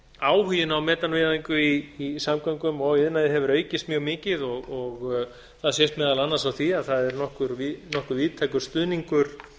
áhuginn á metanvæðingu í samgöngum og iðnaði hefur aukist mjög mikið það sést meðal annars á því að það er nokkuð víðtækur stuðningur